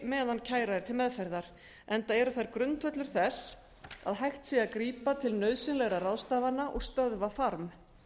meðan kæra sé til meðferðar enda eru þær grundvöllur þess að hægt sé að grípa til nauðsynlegra ráðstafana og stöðva farm